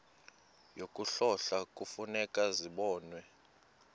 yokuhlola kufuneka zibonwe